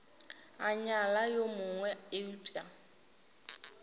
a nyala yo mongwe eupša